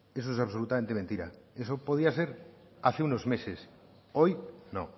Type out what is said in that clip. eso es absolutamente mentira eso podría ser hace unos meses hoy no